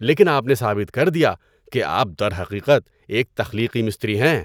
لیکن آپ نے ثابت کر دیا کہ آپ درحقیقت ایک تخلیقی مستری ہیں۔